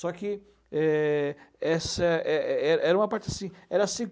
Só que é essa é era era uma parte assim, era se